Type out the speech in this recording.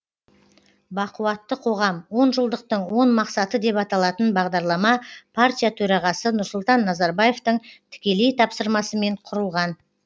бақуатты қоғам онжылдықтың он мақсаты деп аталатын бағдарлама партия төрағасы нұрсұлтан назарбаевтың тікелей тапсырмасымен құрылған